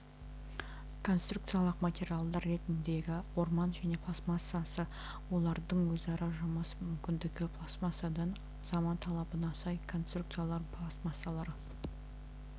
конструкциялық материалдар ретіндегі орман және пластмассасы олардың өзара жұмыс мүмкіндігі пластмассадан заман талабына сай конструкциялау пластмассалары